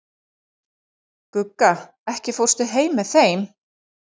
Gugga, ekki fórstu með þeim?